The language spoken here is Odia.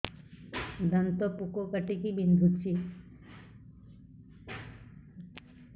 ଦାନ୍ତ ପୋକ କାଟିକି ବିନ୍ଧୁଛି